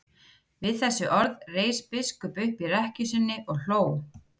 Við þessi orð reis biskup upp í rekkju sinni og hló.